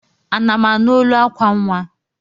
Ana m anụ olu akwa nnwa?